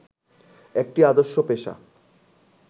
একটি আদর্শ পেশা